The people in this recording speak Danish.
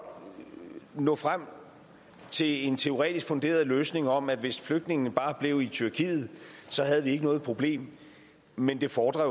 nå frem til en teoretisk funderet løsning om at hvis flygtningene bare blev i tyrkiet havde vi ikke noget problem men det fordrer